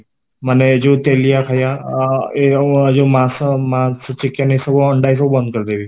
ମାନେ ଯୋଉ ତେଲିଆ ଖାଇବା ଆଃ ଏଁ ଯୋଉ ଯୋଉ ମାଂସ ମାଂସ ଚିକେନ ଏସବୁ ଅଣ୍ଡା ଏସବୁ ବନ୍ଦ କରିଦେବି